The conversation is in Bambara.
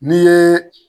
N'i ye